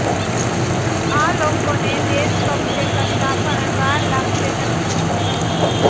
આ લોકોને દેશ કબ્જે કરતા પણ વાર લાગશે નહીં